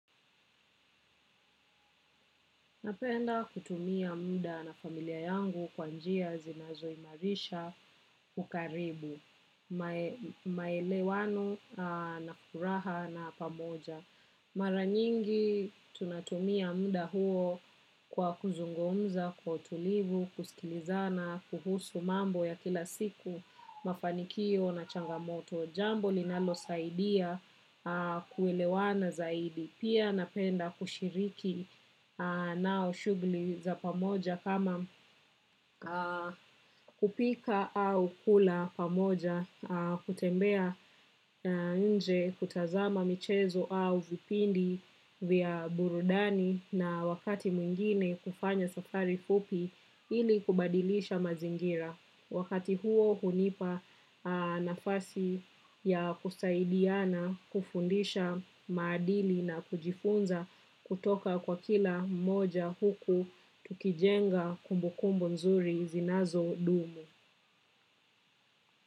Napenda kutumia muda na familia yangu kwa njia zinazoimarisha ukaribu, maelewano na furaha na pamoja. Mara nyingi tunatumia muda huo kwa kuzungumza, kwa utulivu, kusikilizana, kuhusu mambo ya kila siku, mafanikio na changamoto. Jambo linalo saidia kuelewana zaidi. Pia napenda kushiriki nao. Shughuli za pamoja kama kupika au kula pamoja, kutembea nje kutazama michezo au vipindi vya burudani na wakati mwingine kufanya safari fupi ili kubadilisha mazingira. Wakati huo hunipa nafasi ya kusaidiana kufundisha maadili na kujifunza kutoka kwa kila moja huku tukijenga kumbukumbu nzuri zinazodumu.